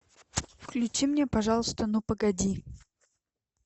включи мне пожалуйста ну погоди